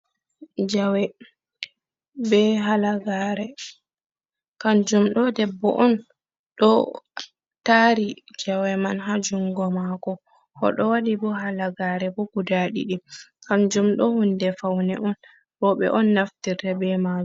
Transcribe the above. Jawe be halagaare, kanjum ɗo debbo on ɗo taari, jawe man haa jungo maako oɗo wadi bo halagaare bo guda didi kanjum ɗo huunde faune on, roɓe on naftirta be mai.